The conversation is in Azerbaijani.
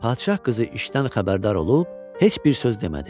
Padşah qızı işdən xəbərdar olub heç bir söz demədi.